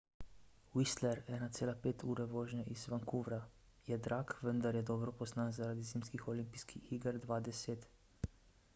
whistler 1,5 ure vožnje iz vancouvra je drag vendar je dobro poznan zaradi zimskih olimpijskih iger 2010